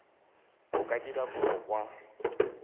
o ka dira kopo kwa